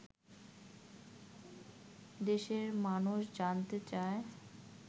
দেশের মানুষ জানতে চায়